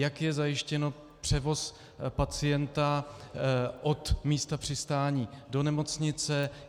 Jak je zajištěn převoz pacienta od místa přistání do nemocnice.